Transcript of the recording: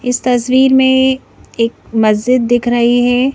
इस तस्वीर मेंएक मस्जिद दिख रही है।